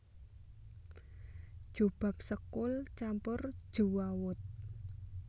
Jobab sekul campur jewawut